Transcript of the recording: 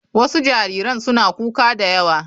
Wasu jariran suna kuka da yawa.